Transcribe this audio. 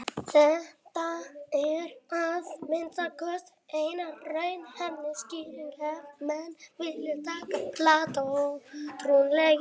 Þetta er að minnsta kosti eina raunhæfa skýringin ef menn vilja taka Plató trúanlegan.